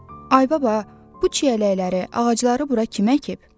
Ay baba, bu çiyələkləri, ağacları bura kim əkib?